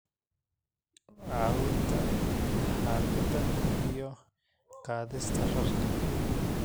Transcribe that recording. caawinta xaaqidda iyo qaadista rarka.